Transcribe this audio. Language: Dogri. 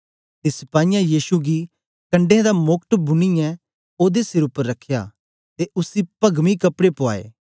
ते सिपाहियें यीशु गी कंडै दा मोकट बुनीऐ ओदे सिर उपर रखया ते उसी पगमी कपड़े पुआए